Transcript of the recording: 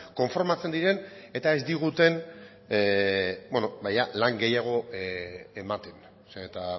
konformatzen diren eta ez diguten ba jada lan gehiago ematen eta